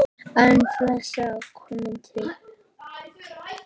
En fleira kom til.